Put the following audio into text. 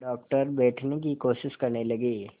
doctor बैठने की कोशिश करने लगे